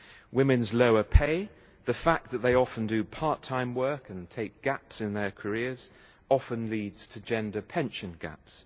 Women's lower pay and the fact that they often do part-time work and take gaps in their careers often leads to gender pension gaps